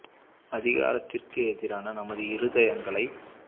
அதிகாரத்திற்கெதிரான நமது இருதயங்களைச்